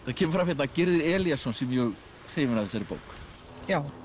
það kemur fram hérna að Gyrðir Elíasson sé mjög hrifinn af þessari bók já